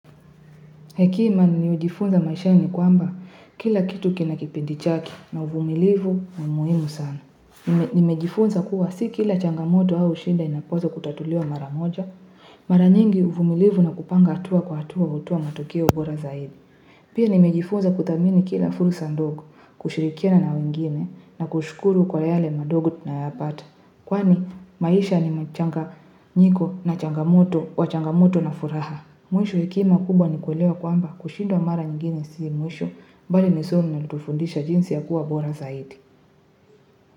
Hekima ni ujifunze maishani kwamba kila kitu kina kipindi chake na uvumilivu ni muhimu sana. Nimejifunza kuwa si kila changamoto au shida inapaswa kutatuliwa mara moja. Mara nyingi uvumilivu na kupanga hatua kwa hatua hutoa matokea bora zaidi. Pia nimejifunza kuthamini kila fursa ndogo, kushirikiana wengine na kushukuru kwa yale madogo tunayoyapata. Kwani maisha ni machanganyiko na changamoto wa changamoto na furaha. Mwisho, hekima kubwa ni kuelewa kwamba kushindwa mara nyingine si mwisho bali ni somo linalotufundisha jinsi ya kuwa bora zaidi.